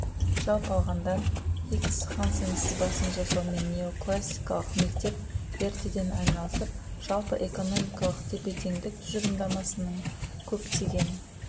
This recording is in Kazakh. жалпы алғанда хикс хансен сызбасын жасаумен неоклассикалық мектеп ертеден айналысып жалпы экономикалық тепе теңдік тұжырымдамасының көптеген